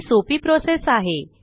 ही सोपी प्रोसेस आहे